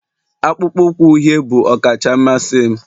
akpụkpọ ụkwụ uhie bụ ọkacha mmasị m